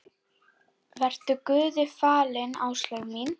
Vertu Guði falin, Áslaug mín.